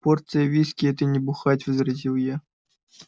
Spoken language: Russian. порция виски это не бухать возразил я